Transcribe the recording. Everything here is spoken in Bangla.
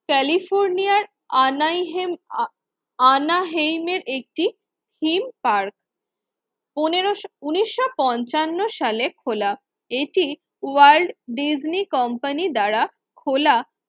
ক্যালিফোর্নিয়ার আনাইহে অনাহিমের একটি থিম পার্ক। পনেরোশো উন্নিশশো পঞ্চান্ন সালে খোলা এটি ওয়ার্ল্ড ডিজনি কোম্পানি দ্বারা খোলা